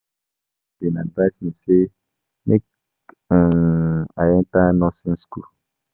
Na my pastor bin advice me sey make I enta nursing skool.